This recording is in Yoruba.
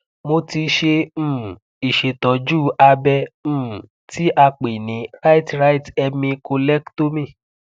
mo ti ṣe um ìṣètọjú abẹ um tí a pè ní right right hemi collectomy